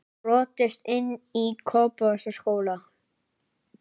Brotist inn í Kópavogsskóla